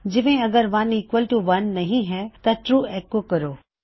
ਜਿਵੇਂ ਅਗਰ 1 equal to 1 ਨਹੀ ਹੈ ਤਾਂ ਟਰੂ ਐੱਕੋ ਕਰੋ